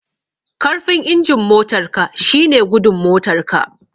Karfin injin motar ka shine gudun motar ka